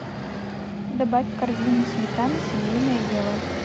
добавь в корзину сметана семейное дело